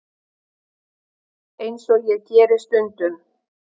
Eins og ég geri stundum.